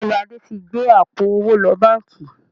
Bẹ́ẹ̀ni, Adé tí gbé àpò owó lọ báńkì